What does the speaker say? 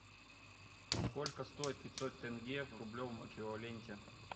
сколько стоит пятьсот тенге в рублевом эквиваленте